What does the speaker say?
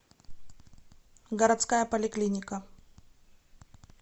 городская поликлиника